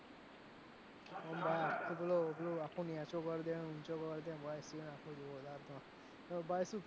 પણ ભાઈ આખો પેલો પેલો આખો નેચો કરદે ઉંચો કરદે એ seen આખો જોયેલો પણ ભાઈ શું